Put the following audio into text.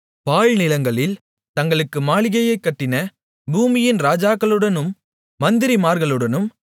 பாழ்நிலங்களில் தங்களுக்கு மாளிகையைக் கட்டின பூமியின் ராஜாக்களுடனும் மந்திரிமார்களுடனும்